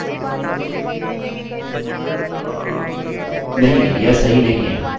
नहीं यह सही नहीं है हमने पूर्णविराम नहीं डाला है